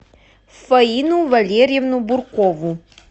фаину валерьевну буркову